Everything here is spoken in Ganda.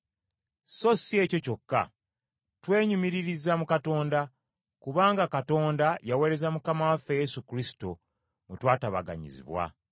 So si ekyo kyokka, twenyumiririza mu Katonda, kubanga Katonda yaweereza Mukama waffe Yesu Kristo, mwe twatabaganyizibwa.